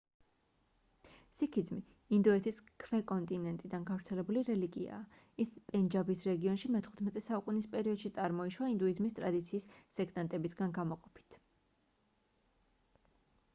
სიქიზმი ინდოეთის ქვე-კონტინენტიდან გავრცელებული რელიგიაა ის პენჯაბის რეგიონში მე-15 საუკუნის პერიოდში წარმოიშვა ინდუიზმის ტრადიციის სექტანტებისგან გამოყოფით